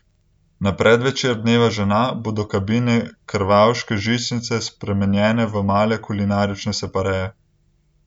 Na predvečer dneva žena bodo kabine krvavške žičnice spremenjene v male kulinarične separeje.